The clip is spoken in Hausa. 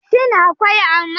Shin akwai amai?